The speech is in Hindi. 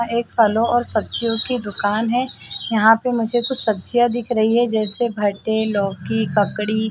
यहाँ एक फलों और सब्जियों की दुकान है यहाँ पे मुझे कुछ सब्जियां दिख जैसे भाटे लौकी ककड़ी--